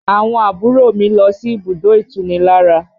Àwọn àbúrò mi lọ sí ibùdó itunilára